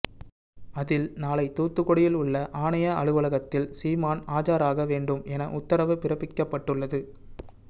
அதில் நாளை தூத்துக்குடியில் உள்ள ஆணைய அலுவலகத்தில் சீமான் ஆஜராக வேண்டும் என உத்தரவு பிறப்பிக்கப்பட்டுள்ளது